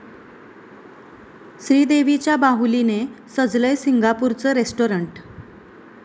श्रीदेवीच्या बाहुलीनं सजलंय सिंगापूरचं रेस्टाॅरंट